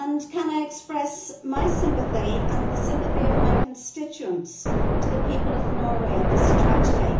May I express my sympathy, and the sympathy of my constituents, with the people of Norway in this tragedy?